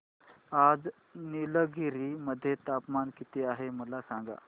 आज निलगिरी मध्ये तापमान किती आहे मला सांगा